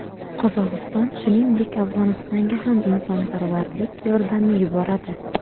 Qozog‘iston, shuningdek, Afg‘onistonga ham insonparvarlik yordami yuboradi.